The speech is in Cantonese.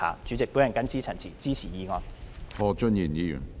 主席，我謹此陳辭，支持議案。